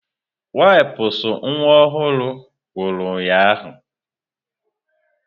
Wipụsụ nwa ọhụrụ ngwuru ụnyahụ.